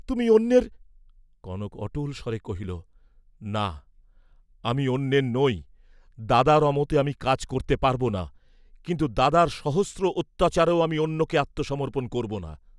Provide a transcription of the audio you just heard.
তুমি অন্যের। কনক অটল স্বরে কহিল, "না, আমি অন্যের নই, দাদার অমতে আমি কাজ করতে পারব না, কিন্তু দাদার সহস্র অত্যাচারেও আমি অন্যকে আত্মসমর্পণ করব না।"